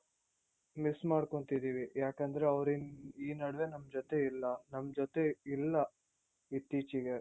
miss ಮಾಡ್ಕೊಂತಿದೀವಿ ಯಾಕಂದ್ರೆ ಅವ್ರು ಈ ನಡುವೆ ನಮ್ ಜೊತೆ ಇಲ್ಲ ನಮ್ ಜೊತೆ ಇಲ್ಲ ಇತ್ತೀಚಿಗೆ